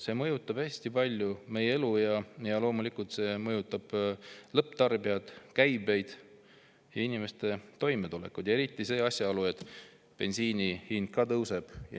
See mõjutab hästi palju meie elu ja loomulikult see mõjutab lõpptarbijat, käibeid ja inimeste toimetulekut – eriti asjaolu, et bensiini hind ka tõuseb.